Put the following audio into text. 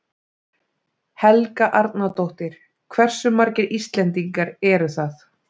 Helga Arnardóttir: Hversu margir Íslendingar eru það?